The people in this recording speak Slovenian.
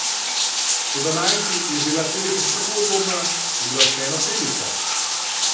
Toda najsi je bila celica še tako udobna, je bila vseeno celica.